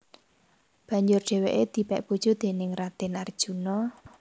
Banjur dheweke dipek bojo déning Raden Arjuna